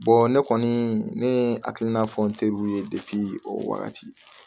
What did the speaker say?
ne kɔni ne ye hakilina fɔ n teriw ye o wagati